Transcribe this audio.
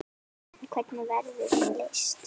En hvernig verður hún leyst?